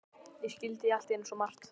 Ég skildi allt í einu svo margt.